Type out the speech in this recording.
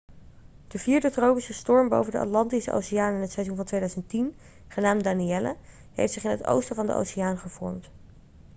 de vierde tropische storm boven de atlantische oceaan in het seizoen van 2010 genaamd danielle heeft zich in het oosten van de oceaan gevormd